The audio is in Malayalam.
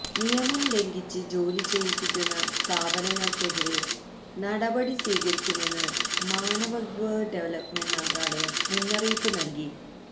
നിയമം ലംഘിച്ച് ജോലിചെയ്യിപ്പിക്കുന്ന സ്ഥാപനങ്ങള്ക്കെതിരേ നടപടി സ്വീകരിക്കുമെന്ന് മാനവ വിഭവ ഡെവലപ്മെന്റ് മന്ത്രാലയം മുന്നറിയിപ്പ് നല്കി